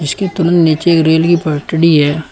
इसके नीचे एक रेल की पटडी है।